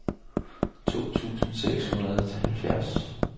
to tusind seks hundrede og halvfjerds